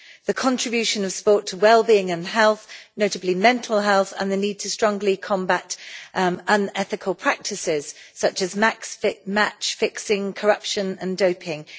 the contribution of sport to wellbeing and health notably mental health, and the need to strongly combat unethical practices such as match fixing, corruption and doping.